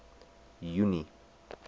junie